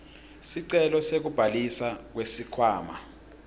sicelo sekubhalisa kusikhwama